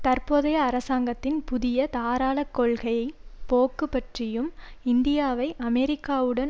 தற்போதைய அரசாங்கத்தின் புதிய தாராள கொள்கையை போக்கு பற்றியும் இந்தியாவை அமெரிக்காவுடன்